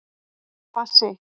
Bassi